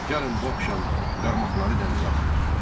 Gəlin bu axşam qarmaqları dənizə atmayaq.